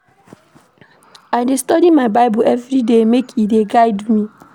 I dey study my Bible everyday make e dey guide me.